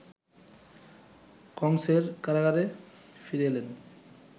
কংসের কারাগারে ফিরে এলেন